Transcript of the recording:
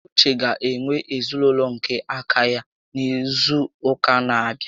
Uche ga-enwe ezinaụlọ nke aka ya n'izu ụka n'abịa